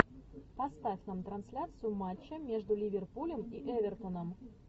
поставь нам трансляцию матча между ливерпулем и эвертоном